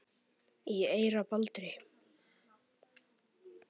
í eyra Baldri